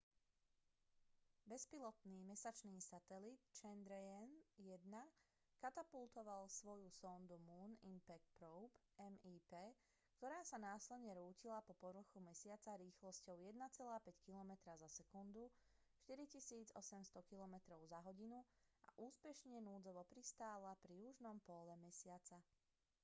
bezpilotný mesačný satelit chandrayaan-1 katapultoval svoju sondu moon impact probe mip ktorá sa následne rútila po povrchu mesiaca rýchlosťou 1,5 kilometra za sekundu 4 800 kilometrov za hodinu a úspešne núdzovo pristála pri južnom póle mesiaca